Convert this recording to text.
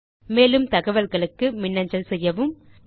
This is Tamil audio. மேலும் அதிக தகவல்களுக்கு எம்மை தொடர்பு கொள்ளவும்